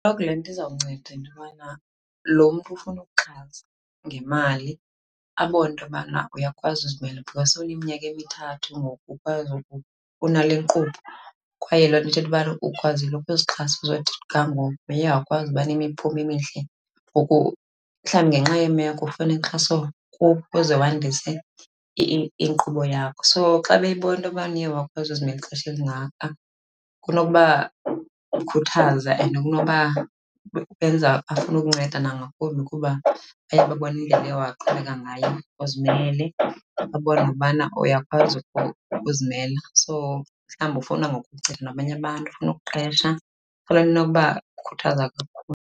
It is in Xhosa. Le nto izawunceda into yobana lo mntu ufuna ukuxhasa ngemali abone into yobana uyakwazi uzimela because sowuneminyaka emithathu ngoku ukwazi , unalenkqubo. Kwaye loo nto ithetha ubana ukwazile ukuzixhasa ukuzothi ga ngoku, uye wakwazi uba nemiphumo emihle. Ngoku mhlawumbi ngenxa yeemeko ufuna inkxaso kubo ukuze wandise inkqubo yakho. So xa beyibona into yobana uye wakwazi uzimela ixesha elingaka kunokuba khuthaza and kunoba benza bafune ukunceda nangakumbi kuba baye babona indlela oye waqhubeka ngayo uzimele, babona nokubana uyakwazi uzimela. So mhlawumbi ufuna ngoku nabanye abantu, ufuna ukuqesha. Fanele inokuba khuthaza kakhulu.